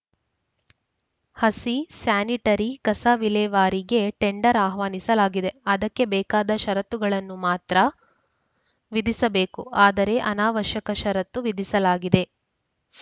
ಹಸಿ ಸ್ಯಾನಿಟರಿ ಕಸ ವಿಲೇವಾರಿಗೆ ಟೆಂಡರ್‌ ಆಹ್ವಾನಿಸಲಾಗಿದೆ ಅದಕ್ಕೆ ಬೇಕಾದ ಷರತ್ತುಗಳನ್ನು ಮಾತ್ರ ವಿಧಿಸಬೇಕು ಆದರೆ ಅನಾವಶ್ಯಕ ಷರತ್ತು ವಿಧಿಸಲಾಗಿದೆ